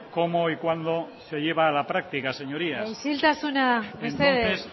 cómo y cuándo se lleva a la práctica señorías isiltasuna mesedez